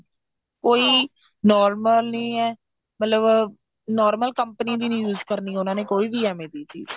ਕੋਈ normal ਨਹੀਂ ਹੈ ਮਤਲਬ normal company ਦੀ ਨਹੀਂ use ਕਰਨੀ ਉਹਨਾ ਨੇ ਕੋਈ ਵੀ ਐਵੇਂ ਦੀ ਚੀਜ